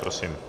Prosím.